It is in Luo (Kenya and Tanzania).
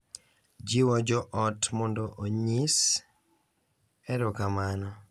Jiwo jo ot mondo onyis erokamano